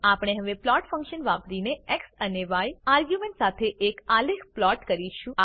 આપણે હવે plot function વાપરીને એક્સ અને ય આર્ગ્યુંમેંટ સાથે એક આલેખ પ્લોટ કરીશું